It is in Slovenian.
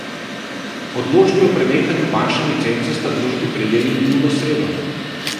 Odločbi o prenehanju bančne licence sta družbi prejeli minulo sredo.